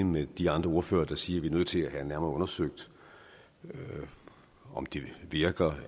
med de andre ordførere der siger at vi er nødt til at have nærmere undersøgt om det virker